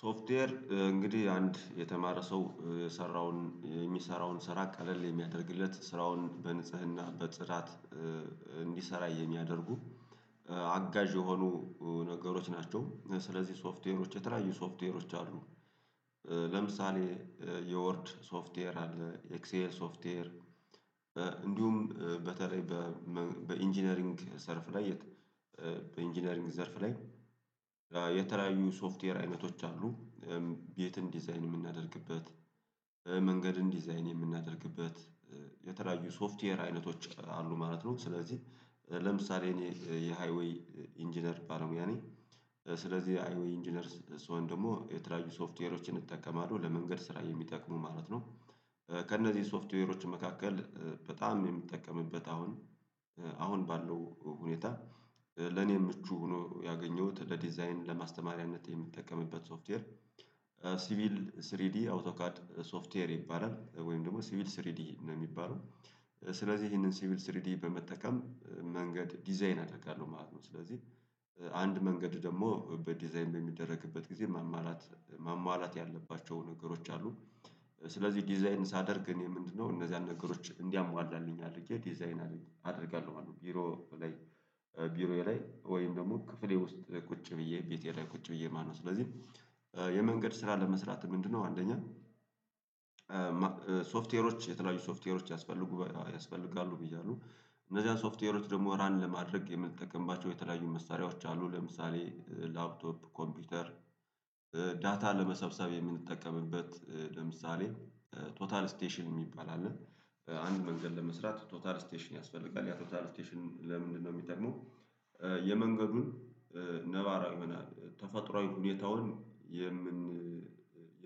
ሶፍትዌር እንግዲህ አንድ የተማረ ሰው የሰራውን የሚሰራውን ስራ ቀለል የሚያደርግለት ስራውን በንጽህና በጽዳት እንዲሰራ የሚያደርጉ አጋዥ የሆኑ ነገሮች ናቸው። ስለዚህ ሶፍትዌሮች የተለያዩ ሶፍትዌሮች አሉ። ለምሳሌ የዎርድ ሶፍትዌር አለ። ኤክሴል ሶፍትዌር። እንዲሁም በተለይ በኢንጂነሪንግ ዘርፍ ላይ በኢንጂነሪንግ ዘርፍ ላይ የተለያዩ ሶፍትዌር አይነቶች አሉ። ቤትን ዲዛይን የምናደርግበት መንገድን ዲዛይን የምናደርግበት የተለያዩ ሶፍትዌር አይነቶች አሉ ማለት ነው። ስለዚህ ለምሳሌ እኔ የሃይዌይ ኢንጂነር ባለሙያ ነኝ። ስለዚህ ሃይዌይ ኢንጂነር ስሆን ደግሞ የተለያዩ ሶፍትዌሮችን እጠቀማለሁ ለመንገድ ስራ የሚጠቅሙ ማለት ነው። ከእነዚህ ሶፍትዌሮች መካከል በጣም የሚጠቀምበት አሁን አሁን ባለው ሁኔታ ለኔ ምቹ ሆኖ ያገኘሁት ለዲዛይን ለማስተማሪያነት የምንጠቀምበት ሶፍትዌር። ሲቪል ስሪዲ አውቶካድ ሶፍትዌር ይባላል ወይም ደግሞ ሲቪል ስሪዲ ነው የሚባለው። ስለዚህ ይሄንን ሲቪል ስሪዲ በመጠቀም መንገድ ዲዛይን አደርጋለሁ ማለት ነው። ስለዚህ አንድ መንገድ ደግሞ በዲዛይን በሚደረግበት ጊዜ መማላት መሟላት ያለባቸው ነገሮች አሉ። ስለዚህ ዲዛይን ሳደርግ እኔ ምንድነው እነዛን ነገሮች እንዲያሟላልኝ አድርጌ ዲዛይን አድርጌ አደርጋለሁ ማለት ነው። ቢሮ ላይ ቢሮዬ ላይ ወይም ደግሞ ክፍሌ ውስጥ ቁጭ ብዬ ቤቴ ላይ ቁጭ ብዬ ማለት ነው። ስለዚህ የመንገድ ስራ ለመስራት ምንድነው አንደኛ ሶፍትዌሮች የተለያዩ ሶፍትዌሮች ያስፈልጉ ያስፈልጋሉ። ብያለው እነዚያን ሶፍትዌሮች ደግሞ ራን ለማድረግ የምትጠቀምባቸው የተለያዩ መሳሪያዎች አሉ ለምሳሌ ላፕቶፕ ኮምፒውተር። ዳታ ለመሰብሰብ የምንጠቀምበት ለምሳሌ ቶታል ስቴሽን የሚባል አለ። አንድ መንገድ ለመስራት ቶታል ስቴሽን ያስፈልጋል ያ ቶታል ስቴሽን ለምንድነው የምጠቅመው? የመንገዱን ነባራዊ መናን ተፈጥሮአዊ ሁኔታውን